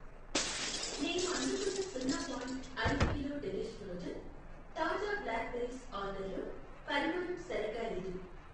నేను అందుకున్న సున్నా పాయింట్ ఐదు కిలో డెలిష్ ఫ్రోజన్ తాజా బ్లాక్ బెర్రీస్ ఆర్డర్లో పరిమాణం సరిగ్గా లేదు.